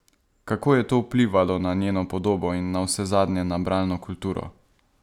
Kako je to vplivalo na njeno podobo in navsezadnje na bralno kulturo?